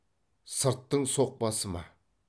сырттың соқпасы ма